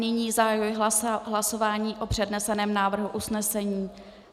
Nyní zahajuji hlasování o předneseném návrhu usnesení.